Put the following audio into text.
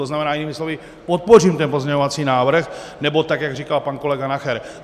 To znamená jinými slovy, podpořím ten pozměňovací návrh, nebo tak jak říkal pan kolega Nacher.